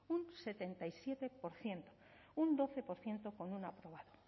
un setenta y siete por ciento un doce por ciento con un aprobado